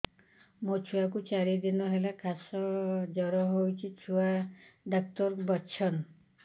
ମୋ ଛୁଆ କୁ ଚାରି ଦିନ ହେଲା ଖାସ ଜର କେଉଁଠି ଛୁଆ ଡାକ୍ତର ଵସ୍ଛନ୍